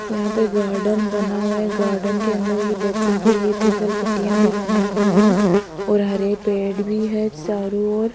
यहां पे गार्डन बना हुआ है गार्डन के अंदर ये बच्चों के लिए तीसल पट्टियां भी बनाई गई है और हरे पेड़ भी है चारों ओर।